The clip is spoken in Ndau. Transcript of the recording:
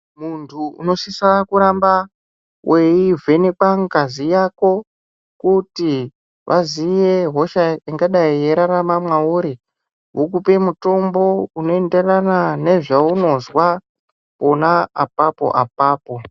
Muntu unosisa kuramba weivhenekwa ngazi yako kuti vaziye hosha ingadai yeirarama mwauri vokupe mutombo unoenderana nezvaunozwa pona apapo apapo.